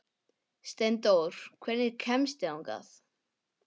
Steindór, hvernig kemst ég þangað?